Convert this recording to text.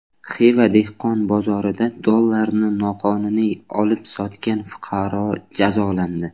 Xiva dehqon bozorida dollarni noqonuniy olib-sotgan fuqaro jazolandi.